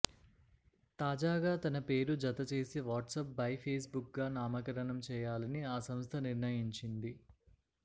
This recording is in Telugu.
తాజాగా తన పేరు జత చేసి వాట్సాప్ బై ఫేస్ బుక్ గా నామకరణం చేయాలని ఆ సంస్థ నిర్ణయించింది